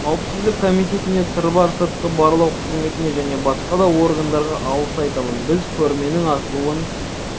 қауіпсіздік комитетіне сырбар сыртқы барлау қызметіне және басқа да органдарға алғыс айтамын біз көрменің ашылуын